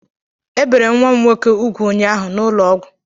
Ebere nwa m nwoke úgwù ụnyaahụ na ụlọ ọgwụ